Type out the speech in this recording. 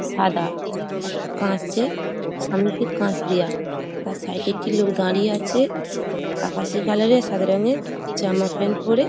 সাদা এক কাচ এ সামনের দিক কাচ দেয়া তার সাইড -এ একটি লোক দাঁড়িয়ে আছে | আকাশি কালার -এর সাদা রঙের জামা প্যান্ট পরে।